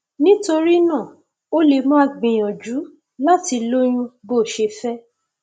nítorí náà o lè máa gbìyànjú láti lóyún bó o ṣe fẹ